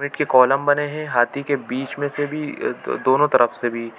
wait के column बने है हाथी के बिच में से भी दोनों तरफ से भी